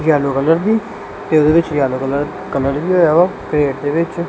Yellow colour ਦੀ ਇਹਦੇ ਵਿੱਚ ਯੈਲੋ ਕਲਰ ਵੀ ਹੋਇਆ ਹੈ ਪੇੜ ਦੇ ਵਿੱਚ।